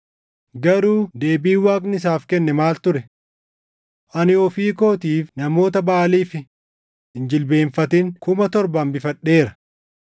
Garuu deebiin Waaqni isaaf kenne maal ture? “Ani ofii kootiif namoota Baʼaaliif hin jilbeenfatin 7,000 hambifadheera.” + 11:4 \+xt 1Mt 19:18\+xt*